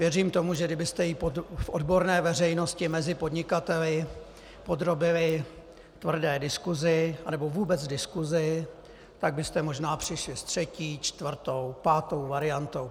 Věřím tomu, že kdybyste ji v odborné veřejnosti mezi podnikateli podrobili tvrdé diskusi, anebo vůbec diskusi, tak byste možná přišli s třetí, čtvrtou, pátou variantou.